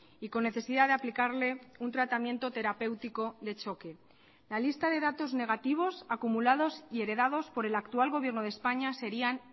y con necesidad de aplicarle un tratamiento terapéutico de choque la lista de datos negativos acumulados y heredados por el actual gobierno de españa serían